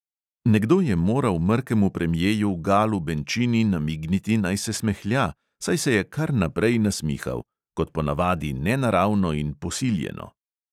Nekdo je moral mrkemu premjeju galu benčini namigniti, naj se smehlja, saj se je kar naprej nasmihal – kot po navadi nenaravno in posiljeno.